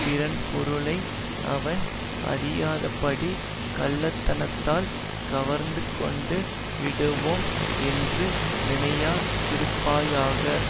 பிறன்பொருளை அவன் அறியாதபடி கள்ளத்தனத்தால் கவர்ந்துகொண்டு விடுவோம் என்று நினையாதிருப்பாயாக